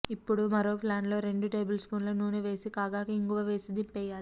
ఇప్పుడు మరో పాన్లో రెండు టేబుల్స్పూన్ల నూనె వేసి కాగాక ఇంగువ వేసి దింపేయాలి